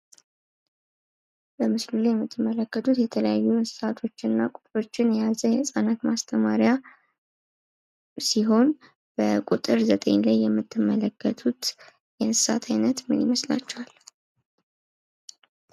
በምስሉ ላይ የምትመለከቱት የተለያዩ እንስሳቶች እና ቁጥሮችን የያዘ የህፃናት ማስተማሪያ ሲሆን በቁጥር 9 ላይ የምትመለከቱት የእንስሳት አይነት ምን ይመስላችኋል?